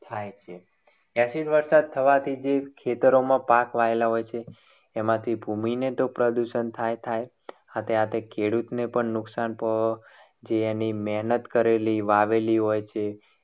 થાય છે. acid વરસાદ થવાથી ખેતરોમાં જે પાક વાવેલા હોય છે. એનાથી ભૂમિને તો પ્રદૂષણ થાય થાય થાય સાથે સાથે ખેડૂતને પણ નુકસાન થવાનું જે એની મહેનત કરેલી હોય છે. વાવેલી હોય છે